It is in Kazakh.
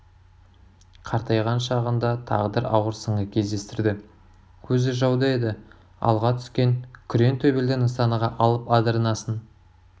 қартайған шағында тағдыр ауыр сынға кездестірді көзі жауда еді алға түскен күрең төбелді нысанаға алып адырнасын